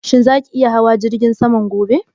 Shin za ki iya hawan jirgin saman gobe?